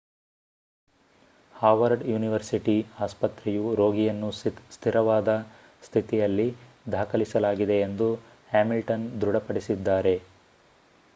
Howard university ಆಸ್ಪತ್ರೆಯು ರೋಗಿಯನ್ನು ಸ್ಥಿರವಾದ ಸ್ಥಿತಿಯಲ್ಲಿ ದಾಖಲಿಸಲಾಗಿದೆ ಎಂದು ಹ್ಯಾಮಿಲ್ಟನ್ ದೃಢಪಡಿಸಿದ್ದಾರೆ